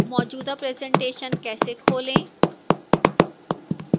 मौजूदा presentation कैसे खोलें